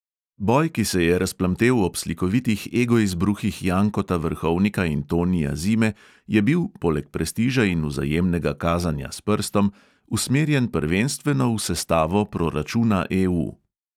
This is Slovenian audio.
Boj, ki se je razplamtel ob slikovitih egoizbruhih jankota vrhovnika in tonija zime, je bil (poleg prestiža in vzajemnega kazanja s prstom) usmerjen prvenstveno v sestavo proračuna EU.